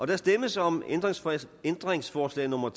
der stemmes om ændringsforslag nummer